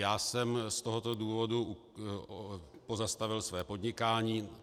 Já jsem z tohoto důvodu pozastavil své podnikání.